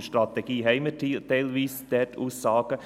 In der Strategie haben wir dort teilweise Aussagen.